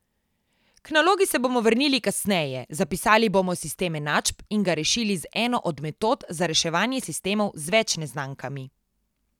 K nalogi se bomo vrnili kasneje, zapisali bomo sistem enačb in ga rešili z eno od metod za reševanje sistemov z več neznankami.